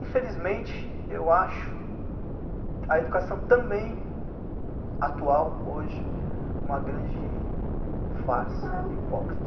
Infelizmente, eu acho a educação também atual, hoje, uma grande farsa, hipócrita.